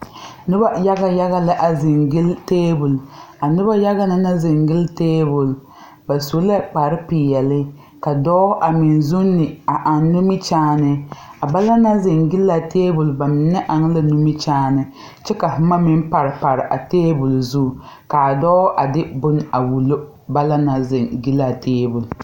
Nobɔ yaga yaga la a zeŋ gyille tabol a nobɔ yaga na naŋ zeŋ guile tabol ba su la kpare peɛle ka dɔɔ a meŋ zuune a aŋ nimikyaane a ba naŋ naŋ zeŋ gyilaa tabol ba mine aŋ la nimikyaane kyɛ ka boma meŋ pare pare a tabole zu kaa dɔɔ a de bone a wullo ba naŋ na zeŋ gyilaa tabole.